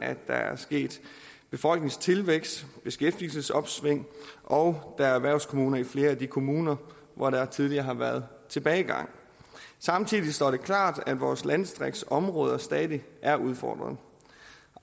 at der er sket befolkningstilvækst beskæftigelsesopsving og der er erhvervskommuner i flere af de kommuner hvor der tidligere har været tilbagegang samtidig står det klart at vores landdistriktsområder stadig er udfordret